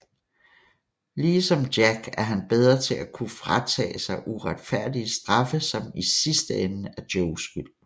Lige som Jack er han bedre til at kunne fratage sig uretfærdige straffe som i sidste ende er Joes skyld